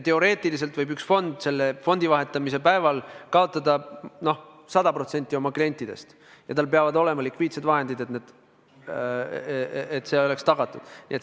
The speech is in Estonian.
Teoreetiliselt võib üks fond fondi vahetamise päeval kaotada 100% oma klientidest, ja tal peavad olema likviidsed vahendid, et see oleks tagatud.